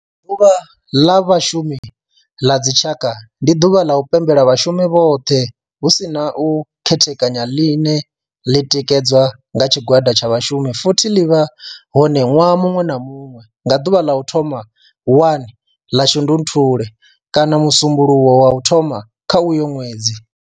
Ḓuvha ḽa Vhashumi la dzi tshaka, ndi duvha ḽa u pembela vhashumi vhothe hu si na u khethekanya ḽine ḽi tikedzwa nga tshigwada tsha vhashumi futhi ḽi vha hone nwaha munwe na munwe nga duvha ḽa u thoma 1 ḽa Shundunthule kana musumbulowo wa u thoma kha uyo nwedzi.